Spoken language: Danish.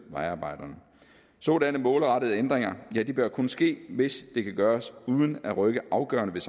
vejarbejderne sådanne målrettede ændringer bør kun ske hvis det kan gøres uden at rykke afgørende